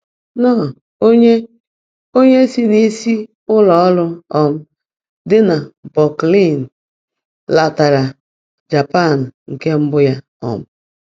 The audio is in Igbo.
Knorr, onye onye si n’isi ụlọ ọrụ um dị na Brooklyn, letara Japan nke mbụ ya. um